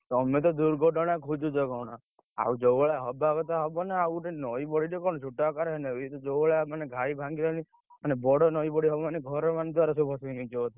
ତମେ ତ ଦୁର୍ଘଟଣା ଖୋଜୁଛ କଣ? ଆଉ ଯୋଉ ଭଳିଆ ହବ କଥା ହବ ନାଉ, ଆଉ ଗୋଟେ ନଈବଢି ଟେ କଣ ଛୋଟ ଆକାରରେ ହୁଏ ନାକଣ? ଇଏ ତ ଯୋଉଭଳିଆ ମାନେ ଘାଇ ଭାଙ୍ଗି ଭାଙ୍ଗି, ବଡ ନଈବଢି ହବ ମାନେ ଘର ମାନେ ଦୁଆର ସବୁ ଭସେଇ ନେଇଯିବ ସବୁ,